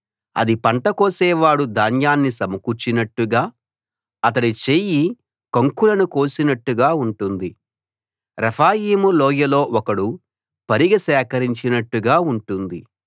అది పంట కోసేవాడు ధాన్యాన్ని సమకూర్చినట్టుగా అతడి చేయి కంకులను కోసినట్టుగా ఉంటుంది రెఫాయీము లోయలో ఒకడు పరిగె సేకరించినట్టుగా ఉంటుంది